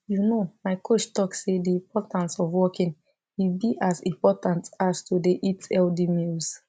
you know my coach talk say the importance of walking e be as important as to dey eat healthy meals